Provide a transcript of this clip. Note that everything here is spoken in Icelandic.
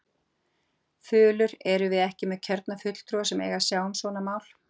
Þulur: Erum við ekki með kjörna fulltrúa sem eiga að sjá um svona mál?